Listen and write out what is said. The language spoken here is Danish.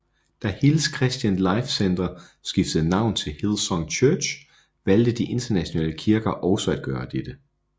Da Hills Christian life Centre skiftede navn til Hillsong Church valgte de internationale kirker også at gøre dette